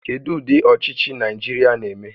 Kedu ụdị ọchịchị Naịjirịa na-eme?